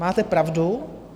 Máte pravdu.